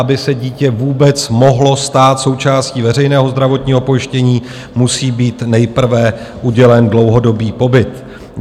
Aby se dítě vůbec mohlo stát součástí veřejného zdravotního pojištění, musí být nejprve udělen dlouhodobý pobyt.